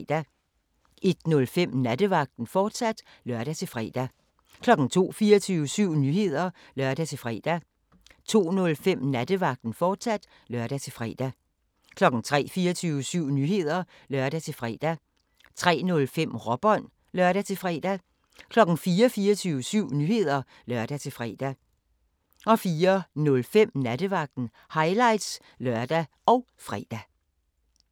01:05: Nattevagten, fortsat (lør-fre) 02:00: 24syv Nyheder (lør-fre) 02:05: Nattevagten, fortsat (lør-fre) 03:00: 24syv Nyheder (lør-fre) 03:05: Råbånd (lør-fre) 04:00: 24syv Nyheder (lør-fre) 04:05: Nattevagten – highlights (lør og fre)